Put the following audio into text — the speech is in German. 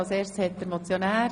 – Das ist nicht der Fall.